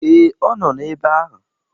Ee, ọ nọ ebe ahụ.